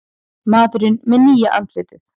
Maðurinn með nýja andlitið